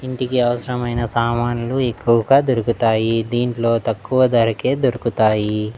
ఇంటికి అవసరమైన సామాన్లు ఎక్కువగా దొరుకుతాయి దీంట్లో తక్కువ ధరకే దొరుకుతాయి.